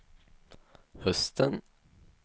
hösten